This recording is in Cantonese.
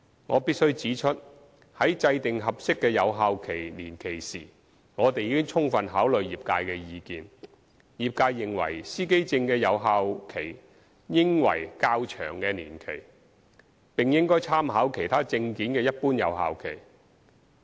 我必須指出，在制訂合適的有效期年期時，我們已充分考慮業界的意見。業界認為司機證的有效期應為較長的年期，並應參考其他證件的一般有效期。